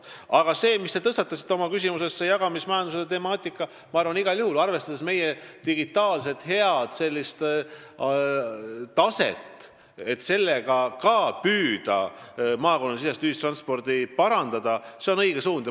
Aga jagamismajanduse teema, mille te oma küsimuses tõstatasite, ka maakonnasisese ühistranspordi parandamiseks, on meie head digitaalset taset arvestades igal juhul õige suund.